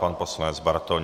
Pan poslanec Bartoň.